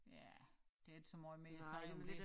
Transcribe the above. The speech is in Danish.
Ja der ikke så måj mere at sige om det